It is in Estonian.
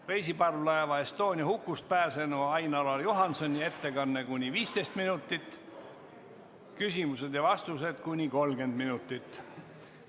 Reisiparvlaeva Estonia hukust pääsenu Ain-Alar Juhansoni ettekanne on kuni 15 minutit, küsimused ja vastused kuni 30 minutit.